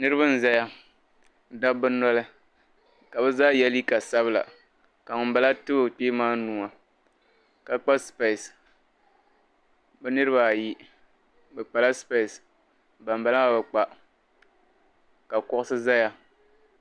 Niriba n-zaya dabba noli ka bɛ zaa ye liiga sabila ka ŋun bala ti o kpee maa nua ka kpa sipesi bɛ niriba ayi bɛ kpala sipesi ban bala bi kpa ka kuɣusi zaya.